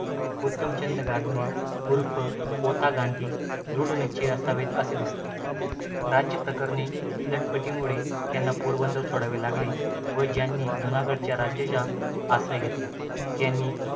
उत्तमचंद गांधी उर्फ ओता गांधी दृढनिश्चयी असावेत असे दिसते. राज्यप्रकरणी लटपटीमुळे त्यांना पोरबंदर सोडावे लागले व त्यांनी जुनागडच्या राज्याचा आश्रय घेतला. त्यांनी